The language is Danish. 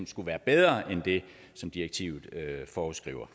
skulle være bedre end det som direktivet foreskriver